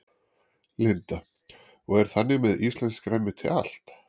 Linda: Og er þannig með íslenskt grænmeti allt?